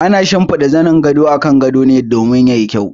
Ana shimfiɗa zanin gado ne akan gado don ya yi kyau.